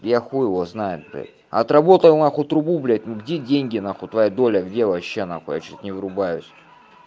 я хуй его знает блядь отработал нахуй трубу блядь ну где деньги нахуй твоя доля где вообще нахуй я что-то не врубаюсь